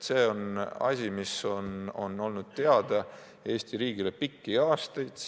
See on asi, mis on olnud teada Eesti riigile pikki aastaid.